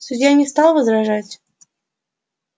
судья не стал возражать